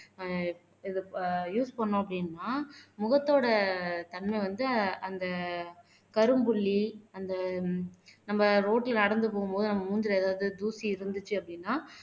அஹ் use பண்ணோம் அப்படின்னா முகத்தோட தன்மை வந்து அந்த கரும்புள்ளி அந்த நம்ம ரோடுல நடந்து போகும்போது நம்ம மூஞ்சியில ஏதாவது தூசி இருந்துச்சு அப்படின்னா